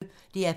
DR P1